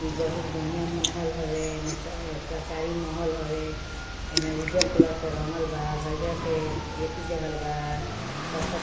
इ बहुत बढ़िया महल हवे | एमे सर सरकारी महल हवे एमें उज्जर कलर से रंगल बा हरियर के एथी देहल बा कत्थक --